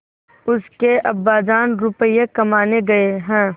उसके अब्बाजान रुपये कमाने गए हैं